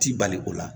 Ti bali o la